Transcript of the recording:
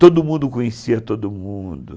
Todo mundo conhecia todo mundo.